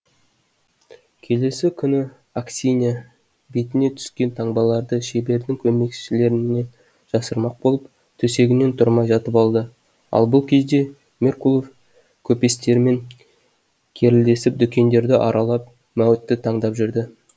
келесі күні аксинья бетіне түскен таңбаларды шебердің көмекшілерінен жасырмақ болып төсегінен тұрмай жатып алды ал бұл кезде меркулов көпестермен керілдесіп дүкендерді аралап мәуітті таңдап жүрді